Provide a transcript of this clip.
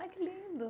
Ai, que lindo.